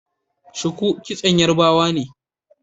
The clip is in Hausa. Shuku kitson yarbawa ne